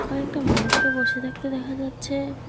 কয়েকটা মানুষকে বসে থাকতে দেখা যাচ্ছে।